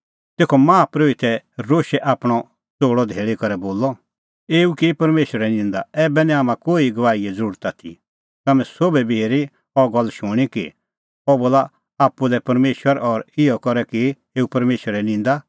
तेखअ माहा परोहितै रोशै आपणअ च़ोल़अ धैल़ी करै बोलअ एऊ की परमेशरे निंदा ऐबै निं हाम्हां कोही गवाहीए ज़रुरत आथी तम्हैं सोभी बी हेरी अह गल्ला शूणीं कि अह बोला आप्पू लै परमेशर और इहअ करै की एऊ परमेशरे निंदा